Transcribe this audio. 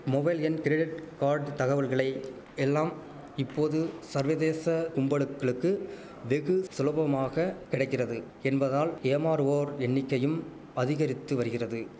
mobile எண் credit card தகவல்களை எல்லாம் இப்போது சர்வதேச கும்பலுக்கிளக்கு வெகு சுலபமாக கிடைக்கிறது என்பதால் ஏமாறுவோர் எண்ணிக்கையும் அதிகரித்து வரிகிறது